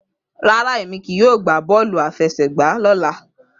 Rara, Emi kii yoo ṣe bọọlu afẹsẹgba ọla.